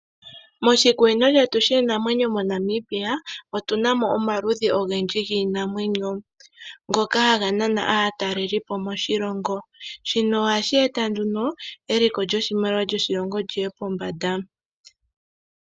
Moshikunino shetu shiinamwenyo moNamibia otu na mo omaludhi ogendji giinamwenyo. Ohaga nana aatalelipo moshilongo, ohashi eta eliko lyoshilongo lyoshimaliwa li ye pombanda.